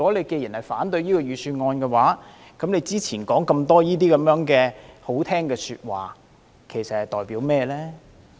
既然他反對預算案，他之前說那麼多動聽的說話又代表甚麼呢？